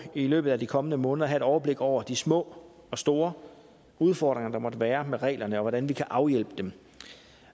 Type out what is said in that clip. i løbet af de kommende måneder at have et overblik over de små og store udfordringer der måtte være med reglerne og hvordan vi kan afhjælpe dem